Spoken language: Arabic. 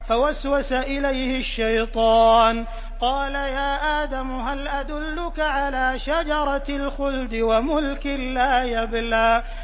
فَوَسْوَسَ إِلَيْهِ الشَّيْطَانُ قَالَ يَا آدَمُ هَلْ أَدُلُّكَ عَلَىٰ شَجَرَةِ الْخُلْدِ وَمُلْكٍ لَّا يَبْلَىٰ